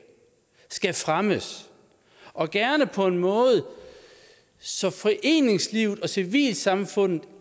skal fremmes og gerne på en måde så foreningslivet og civilsamfundet